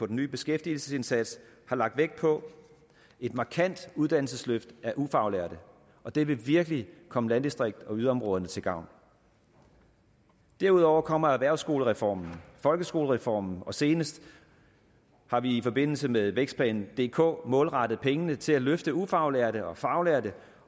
den nye beskæftigelsesindsats har lagt vægt på et markant uddannelsesløft af ufaglærte og det vil virkelig komme landdistrikts og yderområderne til gavn derudover kommer erhvervsskolereformen og folkeskolereformen og senest har vi i forbindelse med vækstplan dk målrettet pengene til at løfte ufaglærte og faglærte